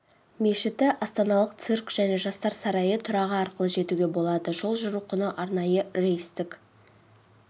мешіті астаналық цирк және жастар сарайы тұрағы арқылы жетуге болады жол жүру құны арнайы рейстік